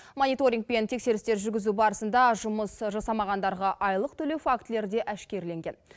мониторингпен тексерістер жүргізу барысында жұмыс жасамағандарға айлық төлеу фактілері де әшкерленген